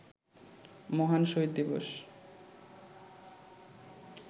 মহান শহিদ দিবস